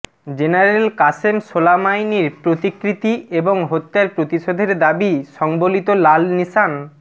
general Qasem সোলাইমানির প্রতিকৃতি এবং হত্যার প্রতিশোধের দাবি সংবলিত লাল নিশান